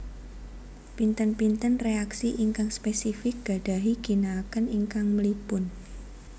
Pinten pinten reaksi ingkang spesifik gadahi ginaaken ingkang mlipun